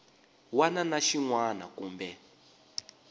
wana na xin wana kumbe